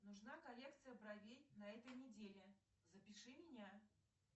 нужна коррекция бровей на этой неделе запиши меня